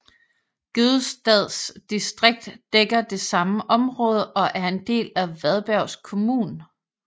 Gødestads distrikt dækker det samme område og er en del af Varbergs kommun